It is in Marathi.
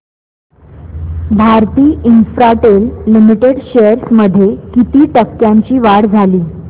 भारती इन्फ्राटेल लिमिटेड शेअर्स मध्ये किती टक्क्यांची वाढ झाली